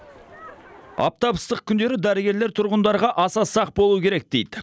аптап ыстық күндері дәрігерлер тұрғындарға аса сақ болу керек дейді